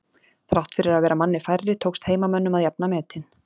Þrátt fyrir að vera manni færri tókst heimamönnum að jafna metin.